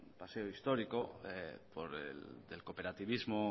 paseo histórico del cooperativismo